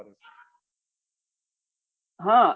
હા